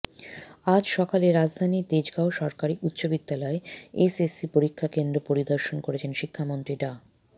আজ সকালে রাজধানীর তেজগাঁও সরকারি উচ্চ বিদ্যালয়ে এসএসসি পরীক্ষা কেন্দ্র পরিদর্শন করেছেন শিক্ষামন্ত্রী ডা